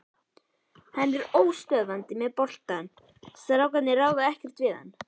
Hann er óstöðvandi með boltann, strákarnir ráða ekkert við hann.